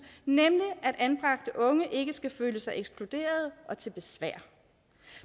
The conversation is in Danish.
nemlig at anbragte unge ikke skal føle sig ekskluderede og til besvær